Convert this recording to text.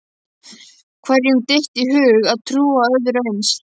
Hverjum dytti í hug að trúa öðru eins?